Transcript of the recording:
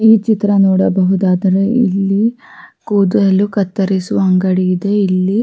ಈ ಚಿತ್ರ ನೋಡಬಹುದಾದರೆ ಇಲ್ಲಿ ಕೂದಲು ಕತ್ತರಿಸುವ ಅಂಗಡಿ ಇದೆ ಇಲ್ಲಿ --